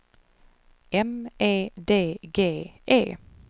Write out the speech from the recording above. M E D G E